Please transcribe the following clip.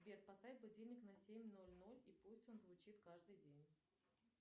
сбер поставь будильник на семь ноль ноль и пусть он звучит каждый день